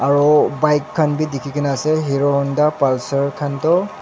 aro bike khan bi dikhikaena ase hero honda khan toh.